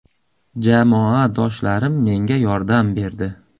Jamoadoshlarim menga yordam berdi.